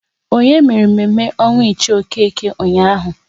Onye mere mme mme ọnwụ Ichie Okeke ụnyaahụ?